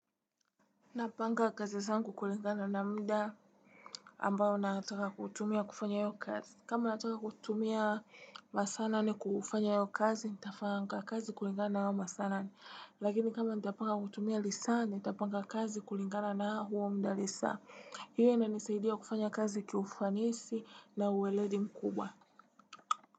Napanga kazi zangu kulingana na mda ambao nataka kutumia kufanya hiyo kazi. Kama nataka kutumia masaa nane kufanya hiyo kazi, nitafanga kazi kulingana na hayo masaa nane. Lakini kama ntapanga kutumia lisa, nitapanga kazi kulingana na huo mda lisa. Hiyo inanisaidia kufanya kazi kiufanisi na uweledi mkubwa.